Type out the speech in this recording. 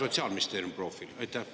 Sotsiaalministeeriumi profiili?